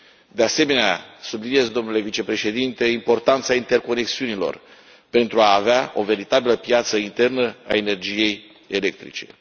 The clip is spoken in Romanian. De asemenea subliniez, domnule vicepreședinte, importanța interconexiunilor pentru a avea o veritabilă piață internă a energiei electrice.